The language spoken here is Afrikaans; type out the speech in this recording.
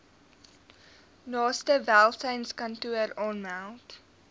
naaste welsynskantoor aanmeld